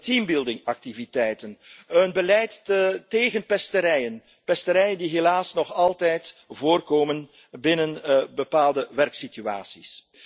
Teambuildingactiviteiten, een beleid tegen pesterijen, pesterijen die helaas nog altijd voorkomen binnen bepaalde werksituaties.